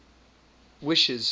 wishes